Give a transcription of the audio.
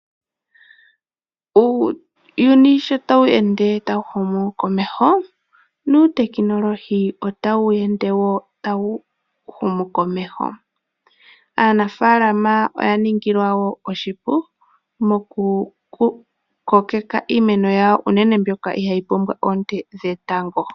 Uuyuni shotawu ende tawu humu komeho nuutekinolohi otawu ende wo tawu humu komeho. Aanafaalama oya ningilwa oshipu okukokeka iimeno yawo unene mbyoka ihayi pumbwa oonte dhetango.